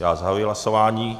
Já zahajuji hlasování.